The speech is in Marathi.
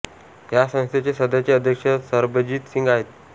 ह्या संस्थे चे सध्याचे अध्यक्ष सरबजीत सिंघ आहेत